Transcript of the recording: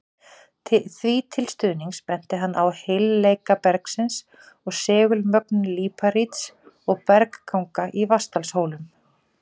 Því til stuðnings benti hann á heilleika bergsins og segulmögnun líparíts og bergganga í Vatnsdalshólum.